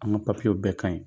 An ka papiyew bɛɛ ka ɲi